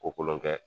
Kolon kɛ